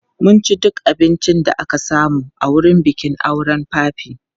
Mun ci duk abincin da aka samu a wurin bikin auren papi.